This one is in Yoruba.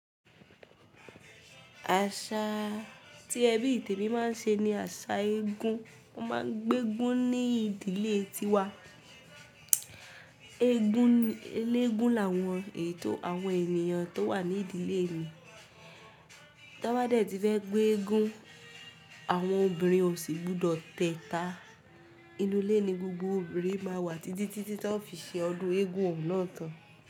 Àṣa tí ẹbí tèmi máa ń ṣe ni àṣà eégún. Wọ́n máa ń gbé eégún ní ìdílé ti wa. Eégún eléégún làwọn ètò àwọn ènìyàn tó wà ní ìdílé mi. Tí wọ́n bá dẹ̀ ti fẹ́ gbé eégún, àwọn obìnrin ò sì gbudọ̀ tẹta. Inú ilé ni gbogbo obìnrin máa wà tití tí táa fi ṣe ọdún eégún òun náà tán.